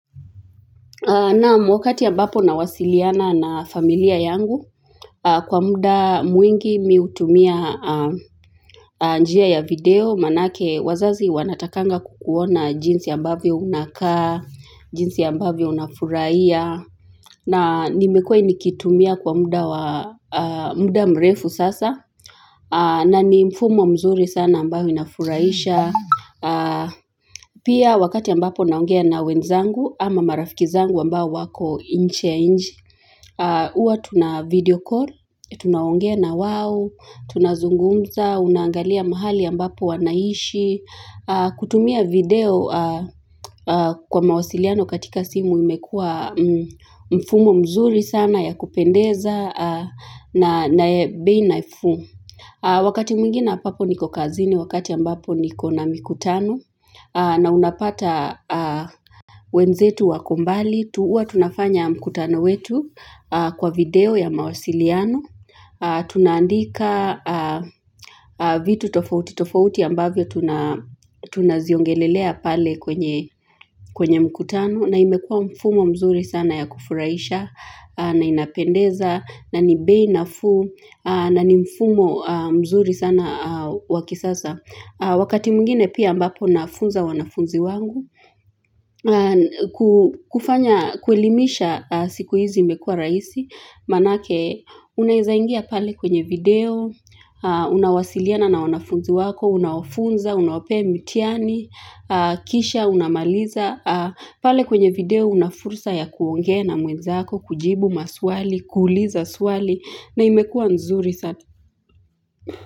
Na mwakati ambapo nawasiliana na familia yangu, kwa muda mwingi mimi utumia njia ya video, maanake wazazi wanatakanga kukuona jinsi ambavyo unakaa, jinsi ambavyo unafurahia, na nimekua nikitumia kwa muda mrefu sasa, na ni mfumo mzuri sana ambayo inafuraisha. Pia wakati ambapo naongea na wenzangu ama marafiki zangu ambao wako nje ya nche Uwa tuna video call, tunaongea na wao tunazungumza, unangalia mahali ambapo wanaishi kutumia video kwa mawasiliano katika simu imekua mfumo mzuri sana ya kupendeza na ya bei nafuu Wakati mwingina ampapo niko kazini, wakati ambapo niko na mkutano na unapata wenzetu wako mbali, huws tunafanya mkutano wetu kwa video ya mawasiliano, tunaandika vitu tofauti, tofauti ambavyo tunaziongelelea pale kwenye mkutano na imekua mfumo mzuri sana ya kufuraisha na inapendeza na ni bei nafuu, na ni mfumo mzuri sana wa kisasa Wakati mwngine pia ambapo nafunza wanafunzi wangu kufanya, kuelimisha siku hizi imekua raisi Maanake, unaezaingia pale kwenye video Unawasiliana na wanafunzi wako Unaofunza, unawapee mitihani Kisha, unamaliza pale kwenye video una fursa ya kuongea na mwenzako kujibu maswali, kuuliza swali na imekua nzuri sana.